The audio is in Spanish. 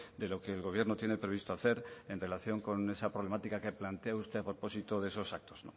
de lo que el gobierno tiene previsto hacer en relación con esa problemática que plantea usted a propósito de esos actos